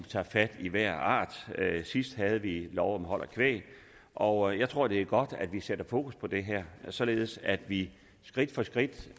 taget fat i hver art sidst havde vi lov om hold af kvæg og jeg tror det er godt at vi sætter fokus på det her således at vi skridt for skridt